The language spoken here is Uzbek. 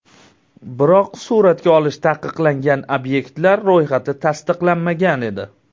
Biroq suratga olish taqiqlangan obyektlar ro‘yxati tasdiqlanmagan edi.